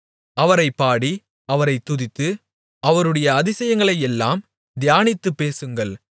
அவரைப் பாடி அவரைத் துதித்து அவருடைய அதிசயங்களையெல்லாம் தியானித்துப் பேசுங்கள்